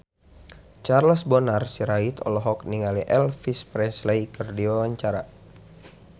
Charles Bonar Sirait olohok ningali Elvis Presley keur diwawancara